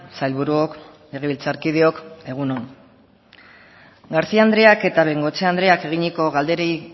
sailburuok legebiltzarkideok egun on garcía andreak eta bengoechea andreak eginiko galderei